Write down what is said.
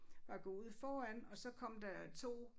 Var gået ud foran og så kom der 2